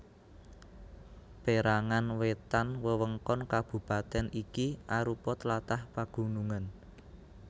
Pérangan wétan wewengkon kabupatèn iki arupa tlatah pagunungan